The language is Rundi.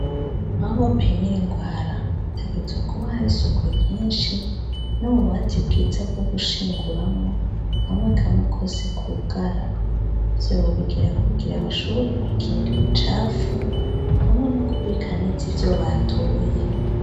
Aho bapimira ingwara hategezwa kuba hari isuku ryinshi n'ububati bwiza bwo gushinguramwo kamwe kamwe kose kugara ivyo babigira kugira bashobore gukinga imicafu hamwe no kubika neza ivyo batoye.